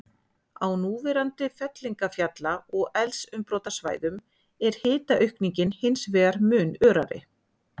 Á núverandi fellingafjalla- og eldsumbrotasvæðum er hitaaukningin hins vegar mun örari.